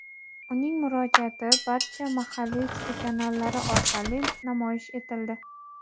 Uning murojaati barcha mahalliy telekanallari orqali namoyish etildi.